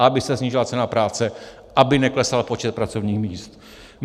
Aby se snížila cena práce, aby neklesal počet pracovních míst.